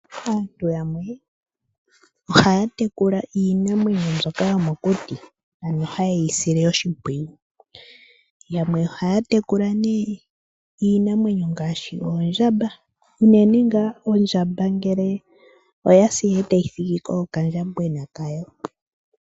Aantu yamwe ohaya tekula iinamwenyo mbyoka yomokuti ano hayeyi sile oshimpwiyu. Yamwe ohaya tekula nee iinamwenyo ngaashi oondjamba unene ngaa ondjaba ngele oyasi etayi thigiko okandjamwena kayo.